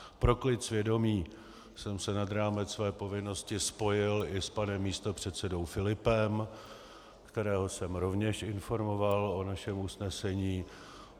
Pro klid svědomí jsem se nad rámec své povinnosti spojil i s panem místopředsedou Filipem, kterého jsem rovněž informoval o našem usnesení.